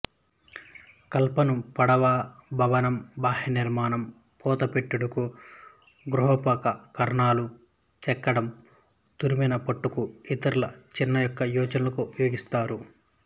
కలపను పడవ భవనం బాహ్య నిర్మాణం పూతపెట్టుటకు గృహోపకరణాలు చెక్కడం తరిమెన పెట్టుటకు ఇతర చిన్న చెక్క యోచనలకు ఉపయోగిస్తారు